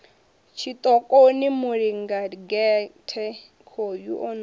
tshiṱokoni mulindagehte khoyu o no